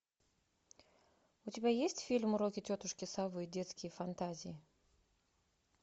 у тебя есть фильм уроки тетушки совы детские фантазии